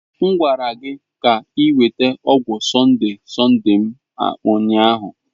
M gwara gị ka ị weta ọgwụ Sonde-Sonde m ụnyahụ!